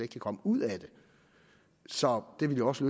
kan komme ud af det så det ville også